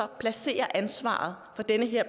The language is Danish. og placerer ansvaret for den her